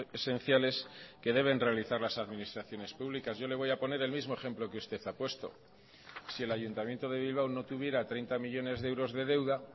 esenciales que deben realizar las administraciones públicas yo le voy a poner el mismo ejemplo que usted ha puesto si el ayuntamiento de bilbao no tuviera treinta millónes de euros de deuda